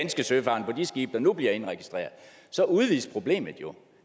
søfarende på de skibe der nu bliver indregistreret så udvides problemet jo